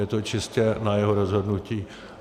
Je to čistě na jeho rozhodnutí.